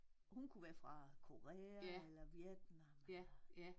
Hun kunne være fra Korea eller Vietnam eller